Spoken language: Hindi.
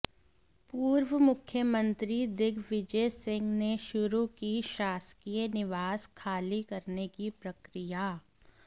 पूर्व मुख्यमंत्री दिग्विजय सिंह ने शुरु की शासकीय निवास खाली करने की प्रक्रिया